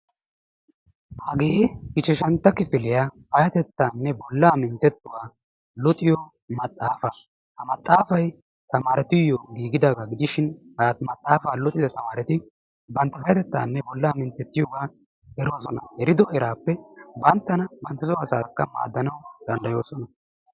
hagee ichashshantta kifiliyaa payatettaanne bolaa mintettuwa luxxiyo maxaafaa. ha maxaafay tamaaretuyo giigidaagaa gidishin ha maxafa luxxida tamaaretti payatettaanne bola minttetiyoogaa eroosona. ha ekkido eraappe banttanakka banttasoo asaakka maadoosona.